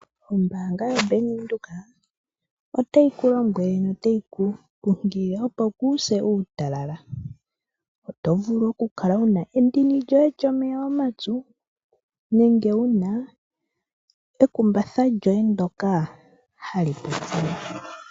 Ombaanga yaBank Windhoek otayi ku lombwele notayi ku kunkilile, opo kuuse uutalala, oto vulu oku kala wuna endini lyoye lyomeya omapyu nenge wuna ekumbatha lyoye ndoka hali pupyala.